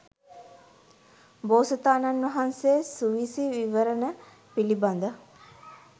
බෝසතාණන් වහන්සේ සූවිසි විවරණය පිළිබඳ